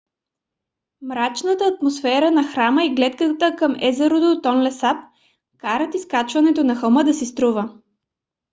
мрачната атмосфера на храма и гледката към езерото тонле сап карат изкачването на хълма да си струва